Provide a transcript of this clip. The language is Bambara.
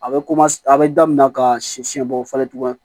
A bɛ a bɛ daminɛ ka si siɲɛ bɔ falen tuguni